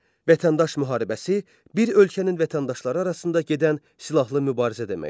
Vətəndaş müharibəsi bir ölkənin vətəndaşları arasında gedən silahlı mübarizə deməkdir.